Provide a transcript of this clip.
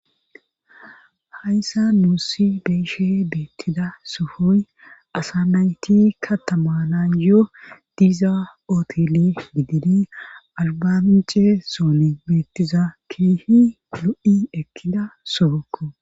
hayssa nuussi beeshe beettida suhoy asa nayti katamanan yoo diiza ootili gidini albance sooni beettiza kiihi lo7i ekkida sogokko